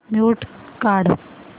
mute काढ